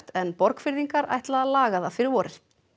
en Borgfirðingar ætla að laga það fyrir vorið